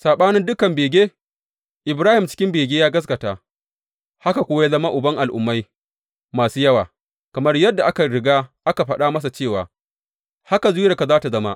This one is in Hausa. Saɓanin dukan bege, Ibrahim cikin bege ya gaskata, haka kuwa ya zama uban al’ummai masu yawa, kamar yadda aka riga aka faɗa masa cewa, Haka zuriyarka za tă zama.